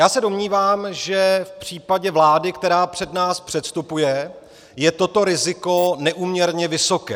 Já se domnívám, že v případě vlády, která před nás předstupuje, je toto riziko neúměrně vysoké.